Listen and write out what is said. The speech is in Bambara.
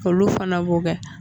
Koluw fana bɛ o kɛ.